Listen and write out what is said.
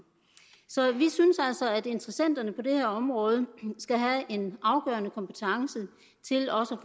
så vi synes altså at interessenterne på det her område skal have en afgørende kompetence til også